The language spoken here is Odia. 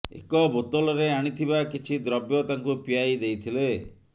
ଏକ ବୋତଲରେ ଆଣିଥିବା କିଛି ଦ୍ରବ୍ୟ ତାଙ୍କୁ ପିଆଇ ଦେଇଥିଲେ